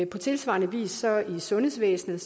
på tilsvarende vis er i sundhedsvæsenet